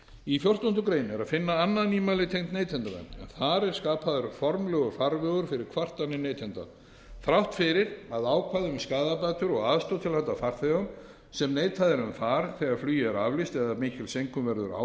í fjórtándu grein er að finna annað nýmæli tengt neytendavernd en þar er skapaður formlegur farvegur fyrir kvartanir neytenda þrátt fyrir að ákvæði um skaðabætur og aðstoð til handa farþegum sem neitað er um far þegar flugi er aflýst eða mikil seinkun verður á